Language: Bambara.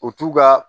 U t'u ka